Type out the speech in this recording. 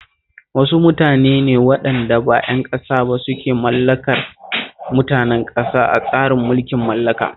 Wasu mutane ne waɗanda ba ƴan ƙasa ba suke mulkar mutanen ƙasa a tsarin mulkin mallaka